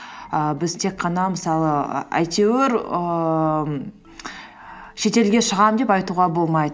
ііі біз тек қана мысалы і әйтеуір ііі шетелге шығамын деп айтуға болмайды